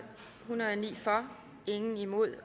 og ni imod